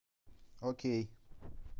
окей